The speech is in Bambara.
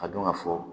Ka dɔn ka fɔ